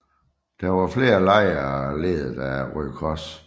Der var flere lejre ledet af Røde Kors